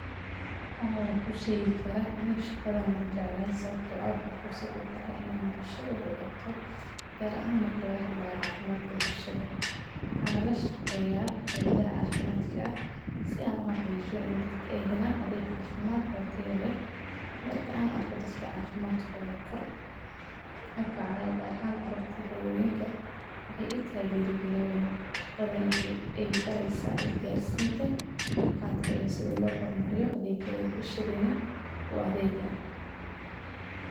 Haa wankushegi karaa howshan sababto ahKalkaaliso waa shaqo aad u muhiim ah maxaa yeelay waxay si toos ah u daryeeshaa caafimaadka iyo nolosha dadka. Kalkaaliyeyaasha caafimaadku waxay kaalin weyn ku leeyihiin daaweynta bukaanada, la socodka xaaladooda, iyo bixinta daryeel joogto ah.